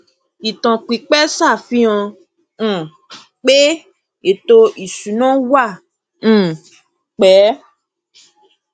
ìtàn pípẹ ṣàfihàn um pé ètò ìsúná wà um pẹ